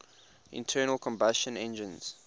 internal combustion engines